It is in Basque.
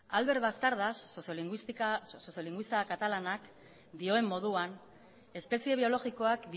albert bastardas sozio linguista katalanak dioen moduan espezie biologikoak